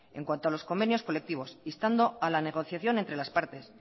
en cuanto a los convenios colectivos instando a la negociación entre las partes